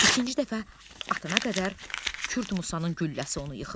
İkinci dəfə atana qədər Kürd Musanın gülləsi onu yıxır.